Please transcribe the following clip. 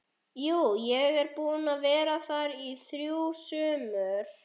Jú, ég er búinn að vera þar í þrjú sumur